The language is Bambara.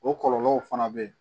O kɔlɔlɔw fana bɛ yen